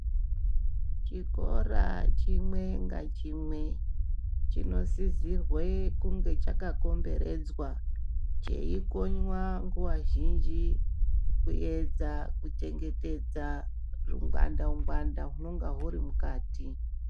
Chikora chimwe nga chimwe chino sisirwe kunge chaka komberedzwa cheikonywa nguva zhinji kuyedza ku chengetedza ru ngwanda ngwanda rwunonga rwuri mukati.